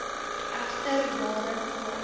egter jare voor